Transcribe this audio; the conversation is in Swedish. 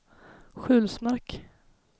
Sjulsmark